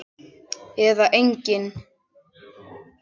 Eða engin?